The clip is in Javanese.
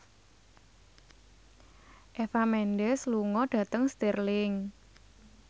Eva Mendes lunga dhateng Stirling